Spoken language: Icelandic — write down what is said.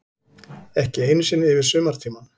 Ekki einu sinni yfir sumartímann.